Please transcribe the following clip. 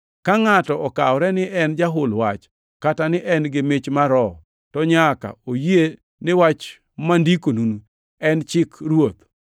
Ka ngʼato okawore ni en jahul wach kata ni en gi mich mar Roho, to nyaka oyie ni wach mandikonuni en chik Ruoth.